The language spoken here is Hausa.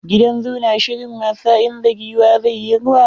Gidan zoo na shirin wasa, inda giwa zai yi rwa.